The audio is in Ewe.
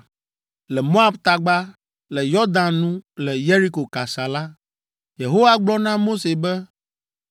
Le Moab tagba, le Yɔdan nu le Yeriko kasa la, Yehowa gblɔ na Mose be,